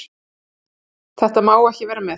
þetta má ekki vera með